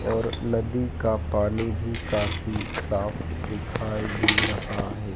और नदी का पानी भी काफी साफ दिखाई दे रहा है।